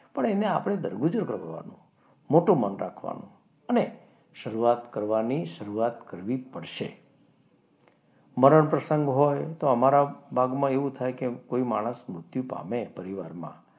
પણ એને આપણે દર ગુજર કરવાનું મોટો મન રાખવાનું અને શરૂઆત કરવાની શરૂઆત કરવી પડશે. મરણ પ્રસંગ હોય તો અમારા ભાગમાં એવું થાય કે કોઈ માણસ મૃત્યુ પામે પરિવારમાં,